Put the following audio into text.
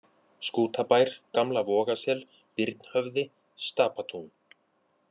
Skútabær, Gamla-Vogasel, Birnhöfði, Stapatún